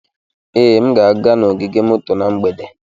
Ee, m ga-aga n'ogige moto na mgbede.